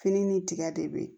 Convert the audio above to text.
Fini ni tiga de be yen